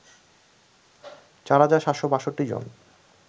চার হাজার ৭৬২ জন